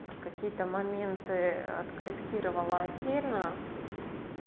а какие-то моменты откорректировала отдельно